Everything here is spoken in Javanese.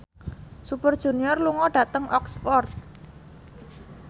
Super Junior lunga dhateng Oxford